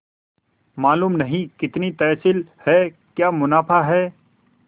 मालूम नहीं कितनी तहसील है क्या मुनाफा है